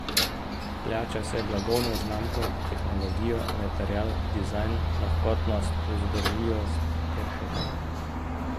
Plača se blagovno znamko, tehnologijo, material, dizajn, lahkotnost, vzdržljivost ter še kaj.